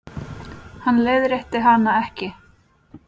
Hann leiðrétti hana ekki.